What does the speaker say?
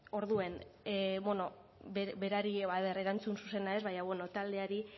berari erantzun zuzena ez baina beno taldeari